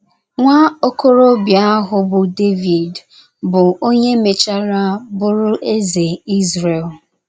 Nwa okorobịa ahụ bụ Devid, bụ́ onye mechara bụrụ eze Izrel.